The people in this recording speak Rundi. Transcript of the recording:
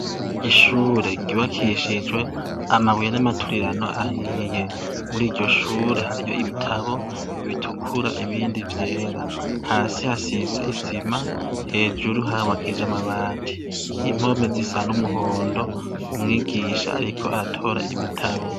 Ishure ryubakishijwe amabuye n'amaturirano ahiye. Muri iryo shure hariyo ibitabo bitukura n'ibindi vyera. Hasi hasize isima, hejuru harubakishijwe amabati. Impome zisa n'umuhondo. Umwigisha ariko aratora ibitabo.